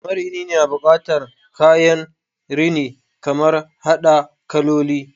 Marini na bukatan kayan rini kamar hada kaloli